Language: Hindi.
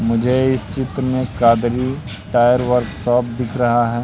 मुझे इस चित्र में कादरी टायर वर्कशॉप दिख रहा है।